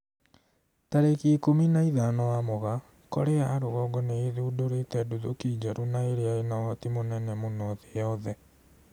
Tarĩki ikũmi na ithano wa Mugaa, Korea ya rũgongo nĩ ĩthundũrite nduthũki njerũ na ĩria ĩna ũhoti mũnene mũno thĩ yothe